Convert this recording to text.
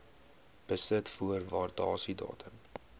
besit voor waardasiedatum